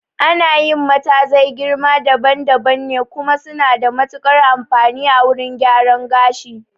Ana yi matazai girma daban daban ne, kuma suna da matuƙar amfani a wurin gyaran gashi